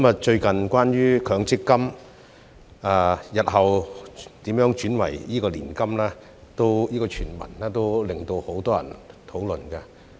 最近關於強積金日後如何轉為年金的傳聞，引起很多人討論。